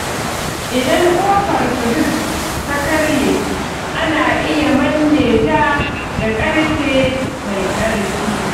Idan kofar firij ta karye, ana iya manne ta da ƙarfe mai ƙarfi.